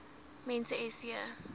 mens s j